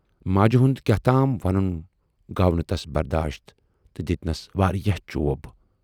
ماجہِ ہُند کیاہتام وَنُن گوٚو نہٕ تَس برداشت تہٕ دِتۍنَس واریاہ چوب۔